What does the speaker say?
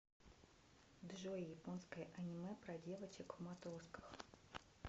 джой японское аниме про девочек в матросках